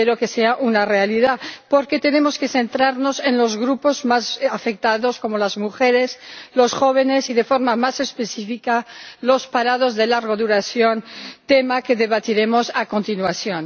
Espero que sea una realidad, porque tenemos que centrarnos en los grupos más afectados, como las mujeres, los jóvenes y, de forma más específica, los parados de larga duración, tema que debatiremos a continuación.